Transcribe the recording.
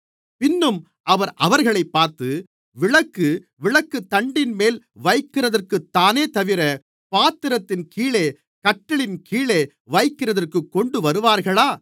பின்னும் அவர் அவர்களைப் பார்த்து விளக்கு விளக்குத்தண்டின்மேல் வைக்கிறதற்குத்தானேதவிர பாத்திரத்தின் கீழோ கட்டிலின் கீழோ வைக்கிறதற்குக் கொண்டுவருவார்களா